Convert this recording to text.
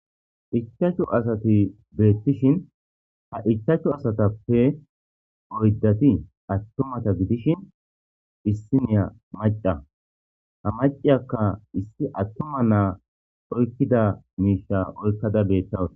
Ichashu asati betishin ha ichashu asatiappe oydati atuma asa gidishin issiniya mac'a ha mac'iyaka issi atuma na'a oyikida misha oykada betawus.